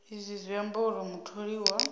izwi zwi amba uri mutholiwa